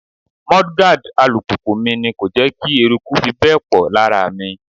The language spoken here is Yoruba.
Mudguard alùpùpù mi ni kò jẹ́ kí eruku fi bẹ́ẹ̀ pọ̀ lára mi.